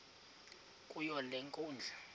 kuyo le nkundla